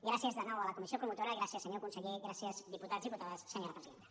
gràcies de nou a la comissió promotora gràcies se·nyor conseller gràcies diputats i diputades senyora presidenta